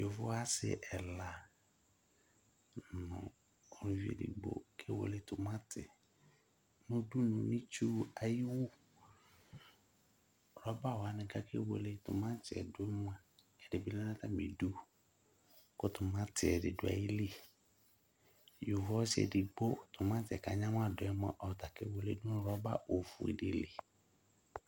Yovo ɔsi ɛla nu ʊluvi edigbo kewele timati nu titsue ayiwu rɔba wani ake wele timati wani du nayili yovo ɔsɩ timati yɛ aŋamadu ɔtakewele du nu rɔbadili